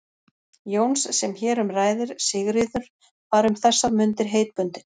Jóns sem hér um ræðir, Sigríður, var um þessar mundir heitbundin